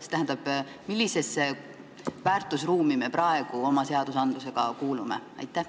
See tähendab, millisesse väärtusruumi me praegu oma seadusega kuulume?